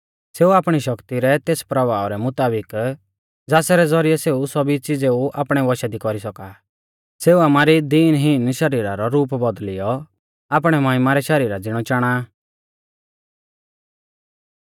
सेऊ आपणी शक्ति रै तेस प्रभाव रै मुताबिक ज़ासरै ज़ौरिऐ सेऊ सौभी च़िज़ेऊ आपणै वशा दी कौरी सौका आ सेऊ आमारी दीनहीन शरीर रौ रूप बौदल़ियौ आपणै महिमा रै शरीरा ज़िणौ चाणा आ